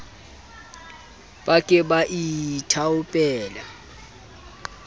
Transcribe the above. ba ke ba ba ithaopela